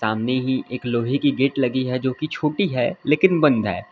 सामने ही एक लोहे की गेट लगी है जो की छोटी है लेकिन बंद है।